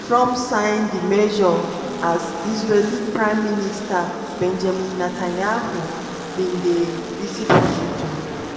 trump sign di measure as israeli prime minister benjamin netanyahu bin dey visit washington.